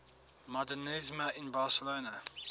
modernisme in barcelona